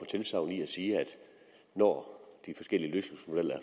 tilsagn i at sige at når de forskellige løsningsmodeller